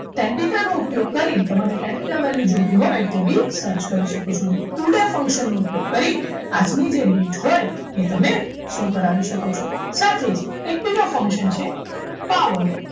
કેન્ડીસાનો ઉપયોગ કરી તમારે tan theta value જોવી હોય તો ભી search કરી શકો છો today function નો ઉપયોગ કરી આજની જે date હોય એ તમે show કરાવી શકો છો સાથે જ એક ત્રીજો function છે power